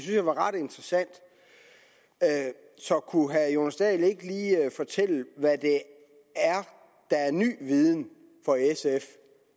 jeg var ret interessant så kunne herre jonas dahl ikke lige fortælle hvad det er der er ny viden for sf